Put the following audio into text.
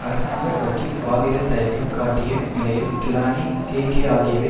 அரசாங்க வக்கீல் வாதிட தயக்கம் காட்டிய நிலையில் கிலானி கேகேஆகாவை